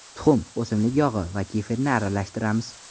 Tuxum, o‘simlik yog‘i va kefirni aralashtiramiz.